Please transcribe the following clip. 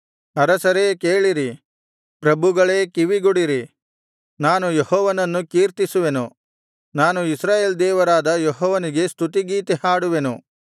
ಅರಸರೇ ಕೇಳಿರಿ ಪ್ರಭುಗಳೇ ಕಿವಿಗೊಡಿರಿ ನಾನು ಯೆಹೋವನನ್ನು ಕೀರ್ತಿಸುವೆನು ನಾನು ಇಸ್ರಾಯೇಲ್ ದೇವರಾದ ಯೆಹೋವನಿಗೆ ಸ್ತುತಿ ಗೀತೆ ಹಾಡುವೆನು